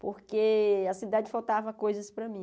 Porque a cidade faltava coisas para mim.